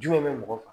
Jumɛn bɛ mɔgɔ kan